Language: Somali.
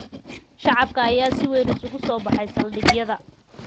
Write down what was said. Shacabka ayaa si weyn isugu soo baxay saldhigyada.